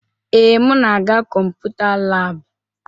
Ee, m na-aga Kọmputa laabụ.